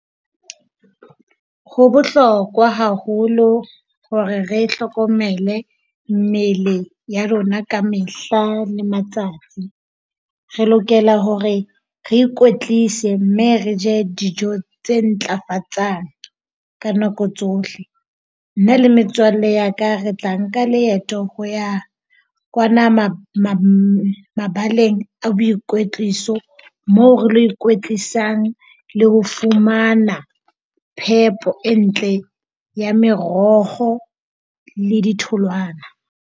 Ho bohlokwa haholo hore re hlokomele mmele ya rona ka mehla le matsatsi. Re lokela hore re ikwetlise mme re je dijo tse ntlafatsang ka nako tsohle. Nna le metswalle ya ka re tla nka leeto ho ya kwana mabaleng a boikwetliso, moo re ilo ikwetlisang le ho fumana phepo e ntle, ya meroho le ditholwana.